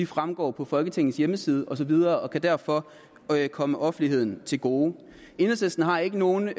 fremgår af folketingets hjemmeside og så videre og kan derfor komme offentligheden til gode enhedslisten har ikke nogen